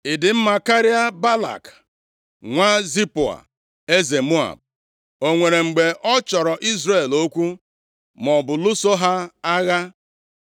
Ị dị mma karịa Balak nwa Zipoa, eze Moab? O nwere mgbe ọ chọrọ Izrel okwu, maọbụ lụso ha agha?